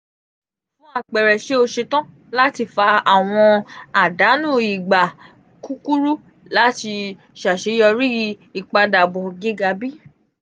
fun apẹẹrẹ ṣe o ṣetan lati fa awọn adanu igba kukuru lati ṣaṣeyọri ipadabọ giga bi?